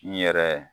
N yɛrɛ